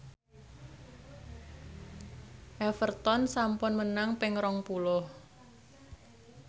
Everton sampun menang ping rong puluh